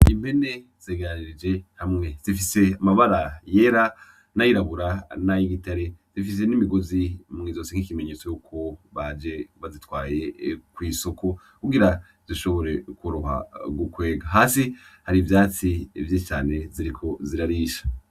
Impene zegeranirije hamwe. Zifise amabara yera n'ayirabura n'ayibitare, zifise n'imigozi mw'izosi nk'ikimenyetso yuko baje bazitwaye kw'isoko, kugira zishobore kworoha gu kwega. Hasi hari ivyatsi vyinshi cane ziriko zirarisha.